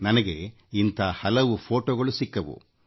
ನನಗೆ ಇಂಥ ಹಲವು ಫೋಟೊಗಳು ಸಿಕ್ಕವು